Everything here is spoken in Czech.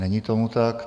Není tomu tak.